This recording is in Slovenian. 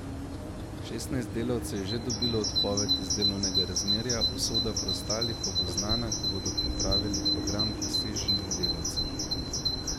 Šestnajst delavcev je že dobilo odpoved iz delovnega razmerja, usoda preostalih pa bo znana, ko bodo pripravili program preseženih delavcev.